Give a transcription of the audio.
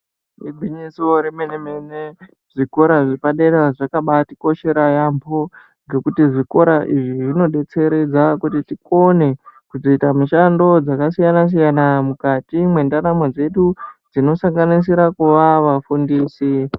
Igwinyiso rememe mene zvikora zvepadera zvakabatikoshera yambho ngekuti zvikorq izvi zvinodetseredza kuti tikone kuzoita mishando dzakasiyana siyana mukati mendaramo dzedu zvinosanganisira kuva vafundisi.